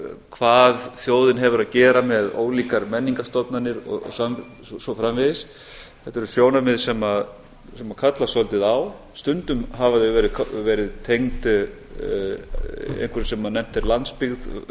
hvað þjóðin hefur að gera með ólíkar menningarstofnanir og svo framvegis þetta eru sjónarmið sem kallast svolítið á stundum hafa þau verið tengd einhverju sem nefnt er landsbyggð versus höfuðborgarsvæði